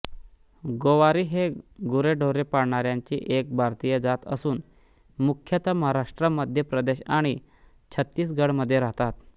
गोवारी हे गुरेढोरे पाळणाऱ्यांची एक भारतीय जात असून मुख्यतः महाराष्ट्र मध्य प्रदेश आणि छत्तीसगडमध्ये राहतात